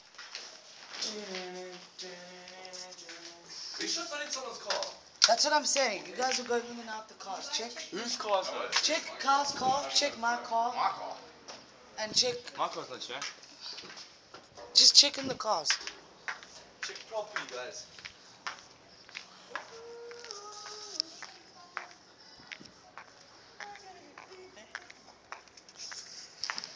danny kaye's short lived